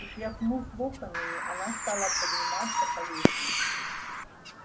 и тряхнув локонами она стала подниматься по лестнице